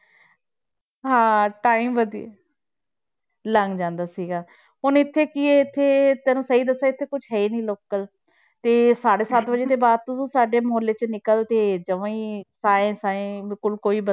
ਹਾਂ time ਵਧੀਆ ਲੰਘ ਜਾਂਦਾ ਸੀਗਾ ਹੁਣ ਇੱਥੇ ਕੀ ਹੈ ਇੱਥੇ ਤੈਨੂੰ ਸਹੀ ਦੱਸਾਂ ਇੱਥੇ ਕੁਛ ਹੈ ਹੀ ਨੀ local ਤੇ ਸਾਢੇ ਸੱਤ ਵਜੇ ਦੇ ਬਾਅਦ ਤਾਂ ਤੂੰ ਸਾਡੇ ਮੁਹੱਲੇ 'ਚ ਨਿਕਲ ਤੇ ਜਮਾ ਹੀ ਸਾਏਂ ਸਾਏਂ ਬਿਲਕੁਲ ਕੋਈ